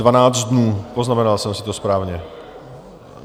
Dvanáct dnů, poznamenal jsem si to správně?